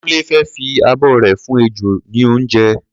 Kúnlé fẹ́ fi abọ́ rẹ̀ fún ejò ní oúnjẹ.